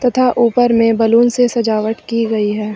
तथा ऊपर में बलून से सजावट की गई है।